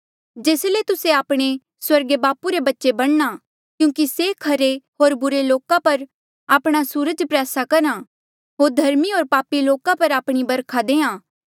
जेस ले तुस्सा आपणे स्वर्गीय बापू रे बच्चे बणना क्यूंकि से खरे होर बुरे लोको पर आपणा सूरज प्रयासा करहा होर धर्मी होर पापी लोको पर आपणी बरखा देहां